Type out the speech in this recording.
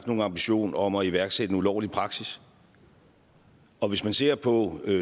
nogen ambition om at iværksætte en ulovlig praksis og hvis man ser på